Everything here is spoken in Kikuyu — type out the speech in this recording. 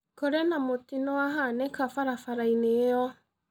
Kũrĩ na mũtino wahanĩka barabara-inĩ ĩyo.